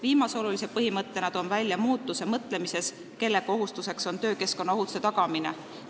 Viimase olulise põhimõttena toon välja muutuse seisukohas, kelle kohustus on töökeskkonna ohutuse tagamine.